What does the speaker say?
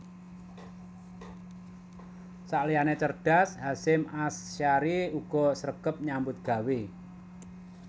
Sakliyane cerdas Hasyim Asyhari uga sregep nyambut gawe